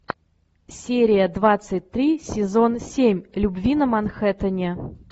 серия двадцать три сезон семь любви на манхэттене